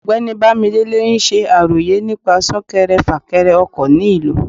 ọgbẹni bamidele n ṣe àrọyé nípa sunkèré-fakere ọkọ ní ìlú